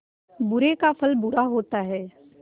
बुरे का फल बुरा होता है